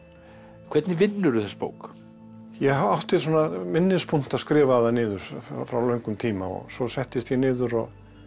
hvernig vinnurðu þessa bók ég átti svona minnispunkta skrifaða niður frá löngum tíma og svo settist ég niður og